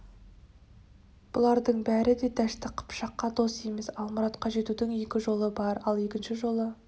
бұлардың бәрі де дәшті қыпшаққа дос емес ал мұратқа жетудің екі жолы бар ал екінші жолы